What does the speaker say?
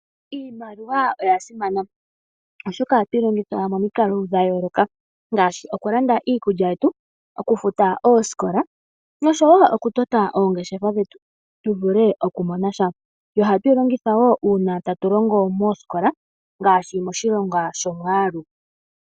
Iimaliwa oya simana oshoka ohatu yi longitha momikalo dha yooloka ngaashi oku landa iikulya, oku futa oosikola nosho wo oku tota oongeshefa tu vule oku mona sha. Ohatu yi longitha wo moosikola ngaashi moshilongwa shOmwaalu.